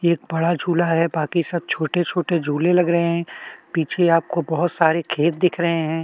एक-बड़ा झूला है बाकी सब छोटे-छोटे झूले लग रहे हैं पीछे आपको बहुत सारा खेत दिख रहे हैं।